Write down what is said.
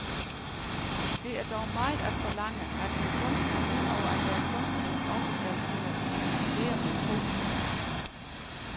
Det er dog meget at forlange, at en kunstner ud over at være kunstnerisk også skal kunne dividere med to.